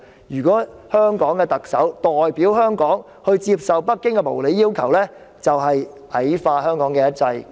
如果香港的特首代表香港接受北京的無理要求，便是矮化香港的"一制"。